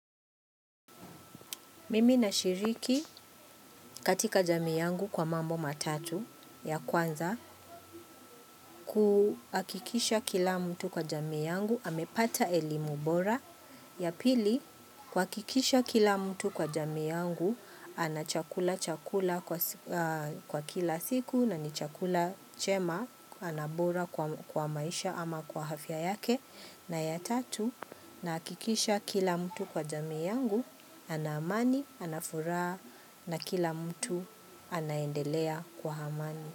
Mimi na shiriki katika jamii yangu kwa mambo matatu ya kwanza kuhakikisha kila mtu kwa jamii yangu amepata elimu bora. Ya pili kuhakikisha kila mtu kwa jamii yangu anachakula chakula kwa kila siku na ni chakula chema anabora kwa maisha ama kwa afya yake. Na ya tatu nahakikisha kila mtu kwa jamii yangu, ana amani, anafuraha na kila mtu anaendelea kwa amani.